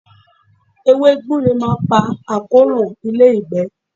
Ewé gbure máa ń pa àkóràn ilé-ìgbẹ́.